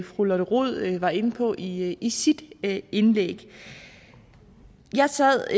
fru lotte rod var inde på i i sit indlæg jeg sad